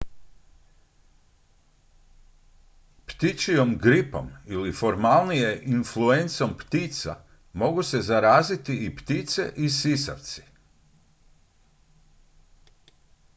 ptičjom gripom ili formalnije influencom ptica mogu se zaraziti i ptice i sisavci